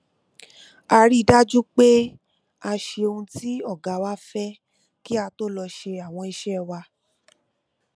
a rí i dájú pé a ṣe ohun tí ọ̀gá wá fẹ́ kí a tó lọ ṣe àwọn iṣẹ́ wa